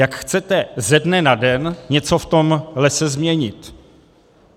Jak chcete ze dne na den něco v tom lese změnit?